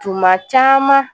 Tuma caman